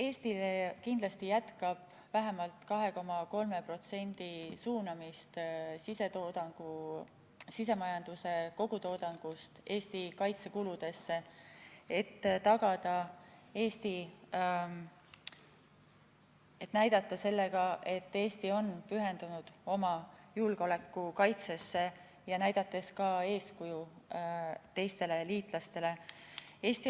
Eesti kindlasti jätkab vähemalt 2,3% suunamist sisemajanduse kogutoodangust Eesti kaitsekuludesse, näidates sellega, et Eesti on pühendunud oma julgeoleku kaitsele, ja näidates eeskuju ka teistele liitlastele.